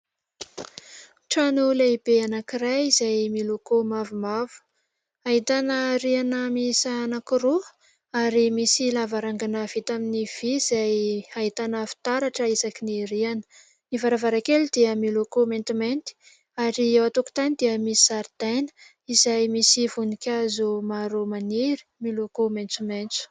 Trano lehibe anankiray izay miloko mavomavo, ahitana riana miisa anankiroa ary misy lavarangana vita amin'ny vy, izay ahitana fitaratra isaky ny riana. Ny varavarankely dia miloko maintimainty ary eo an-tokotany dia misy zaridaina, izay misy voninkazo maro maniry, miloko maitsomaitso.